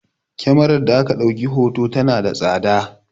Kemarar da aka ɗauki hoton tana da tsada